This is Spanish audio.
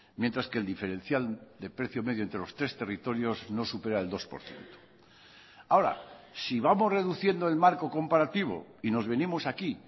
mientras que el diferencial de precio medio entre los tres territorios no supera el dos por ciento ahora si vamos reduciendo el marco comparativo y nos venimos aquí